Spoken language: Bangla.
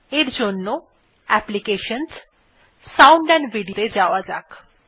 এর জন্য applications জিটিসাউন্ড এএমপি Video ত়ে যাওয়া যাক